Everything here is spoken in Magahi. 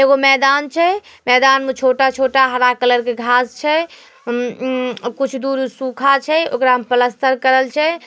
एगो मैदान छै। मैदान में छोटा-छोटा हरा कलर के घांस छै। अमम मम कुछ दूर सूखा छै ओकरा में प्लास्टर करल छै।